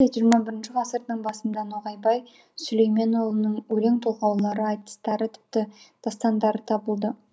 десек те ххі ғасырдың басында ноғайбай сүлейменұлының өлең толғаулары айтыстары тіпті дастандары табылды